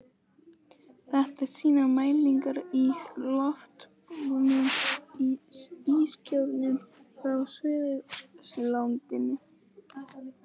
Þetta sýna mælingar í loftbólum úr ískjörnum frá Suðurskautslandinu.